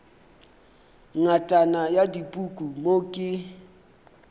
ngatana ya dipuku mo ke